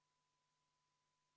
Aitäh, austatud aseesimees!